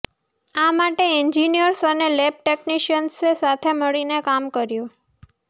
આ માટે એન્જિનિયર્સ અને લેબ ટેક્નિશિયન્સે સાથે મળીને કામ કર્યું